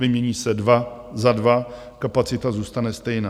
Vymění se dva za dva, kapacita zůstane stejná.